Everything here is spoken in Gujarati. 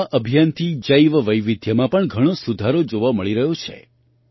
આ અભિયાનથી જૈવવૈવિધ્યમાં પણ ઘણો સુધારો જોવા મળી રહ્યો છે